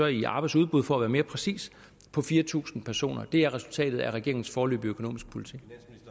i arbejdsudbud for at være mere præcis på fire tusind personer det er resultatet af regeringens foreløbige økonomiske politik